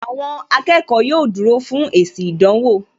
Àwọn akẹ́kọ̀ọ́ yóò dúró fún èsì ìdánwò